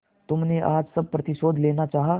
तुमने आज सब प्रतिशोध लेना चाहा